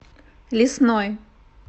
лесной